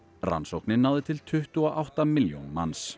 rannsóknin náði til tuttugu og átta milljón manns